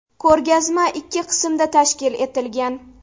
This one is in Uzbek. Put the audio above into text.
Ko‘rgazma ikki qismda tashkil etilgan.